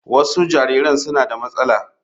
Wasu jariran suna da matsala.